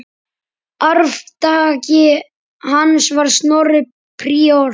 Arftaki hans var Snorri príor.